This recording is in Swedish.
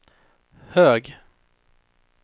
hög